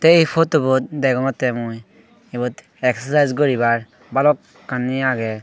ei photobut degongettey mui ibot exocise guribar balokkani agey.